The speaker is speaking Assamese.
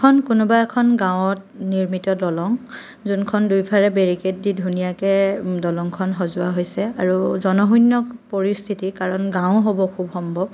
এইখন কোনোবা এখন গাঁৱত নিৰ্মিত দলং জোনখন দুয়োফালে বেৰিকেট দি ধুনীয়াকে উম দলংখন সজোৱা হৈছে আৰু জনশূন্য পৰিস্থিতি কাৰণ গাওঁ হ'ব খুব সম্ভৱ।